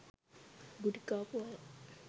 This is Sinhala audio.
ගුටිකාපු අය